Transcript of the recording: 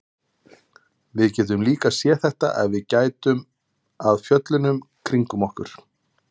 Við getum líka séð þetta ef við gætum að fjöllunum kringum okkur.